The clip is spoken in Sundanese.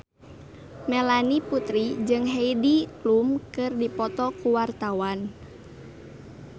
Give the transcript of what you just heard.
Melanie Putri jeung Heidi Klum keur dipoto ku wartawan